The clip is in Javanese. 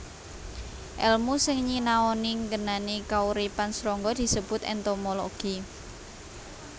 Èlmu sing nyinaoni ngenani kauripan srangga disebut entomologi